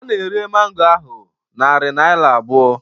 A na-ere mango ahụ narị naira abụọ.